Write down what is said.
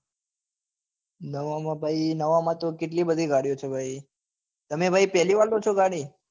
નવા માં ભાઈ નવા માં તો કેટલી બધી ગાડીઓ છે ભાઈ તમે ભાઈ પહેલી વાર લો છો ગાડી